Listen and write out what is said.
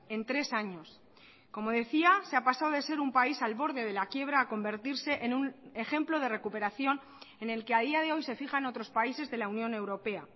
en tres años como decía se ha pasado de ser un país al borde de la quiebra a convertirse en un ejemplo de recuperación en el que a día de hoy se fijan otros países de la unión europea